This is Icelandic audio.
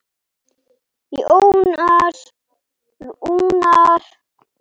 Jónas Rúnar.